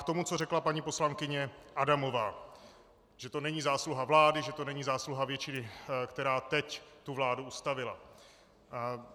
K tomu, co řekla paní poslankyně Adamová, že to není zásluha vlády, že to není zásluha většiny, která teď tu vládu ustavila.